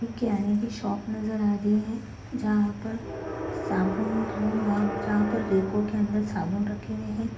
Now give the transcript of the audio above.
किराने के शॉप नज़र आ रही है जहाँ पर साबुन जहाँ पर रेको के अंदर साबुन रखे हुए हैं।